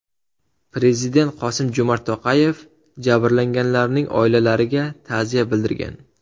Prezident Qosim-Jomart To‘qayev jabrlanganlarning oilalariga ta’ziya bildirgan.